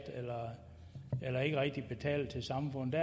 eller som ikke rigtig betaler til samfundet